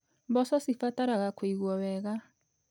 Mboco cibataraga kũigwo wega.